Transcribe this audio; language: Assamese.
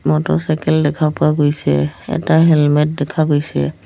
মতৰচাইকেল দেখা পোৱা গৈছে এটা হেলমেট দেখা গৈছে।